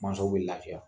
Mansaw bɛ lafiya